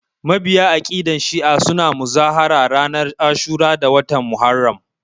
Mabiya aƙidan shi'a suna muzahara ranar ashura a watan Muharram